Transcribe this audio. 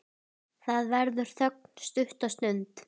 Það verður þögn stutta stund.